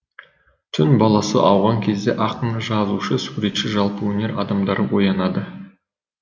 түн баласы ауған кезде ақын жазушы суретші жалпы өнер адамдары оянады